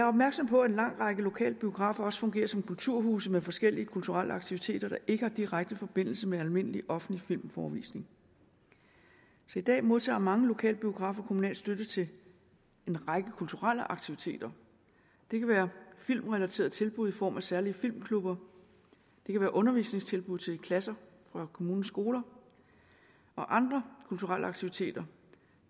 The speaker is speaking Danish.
opmærksom på at en lang række lokale biografer også fungerer som kulturhuse med forskellige kulturelle aktiviteter der ikke har direkte forbindelse med almindelig offentlig filmforevisning i dag modtager mange lokalbiografer kommunal støtte til en række kulturelle aktiviteter det kan være filmrelaterede tilbud i form af særlig filmklubber det kan være undervisningstilbud til klasser fra kommunens skoler og andre kulturelle aktiviteter